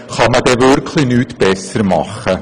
Kann man denn wirklich nichts besser machen?